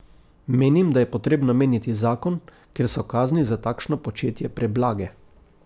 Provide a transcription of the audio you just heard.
Menim, da je potrebno menjati zakon, ker so kazni za takšno početje preblage.